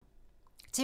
TV 2